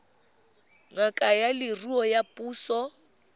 ngaka ya leruo ya puso